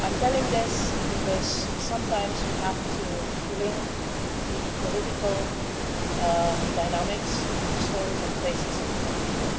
I am telling you this because sometimes we have to link the political dynamics to stories, faces and people.